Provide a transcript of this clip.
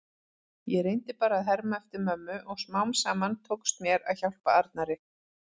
Ég reyndi bara að herma eftir mömmu og smám saman tókst mér að hjálpa Arnari.